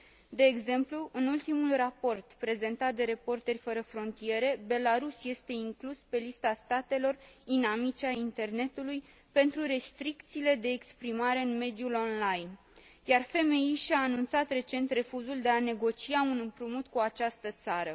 De exemplu, în ultimul raport prezentat de Reporteri fără frontiere, Belarus este inclus pe lista statelor inamice ale Internetului pentru restricțiile de exprimare în mediul online, iar FMI și a anunțat recent refuzul de a negocia un împrumut cu această țară.